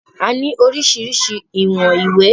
A ní oríṣiríṣi ìwọ̀n ìwé